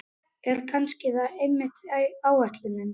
En kannski er það einmitt ætlunin.